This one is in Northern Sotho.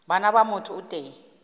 bana ba motho o tee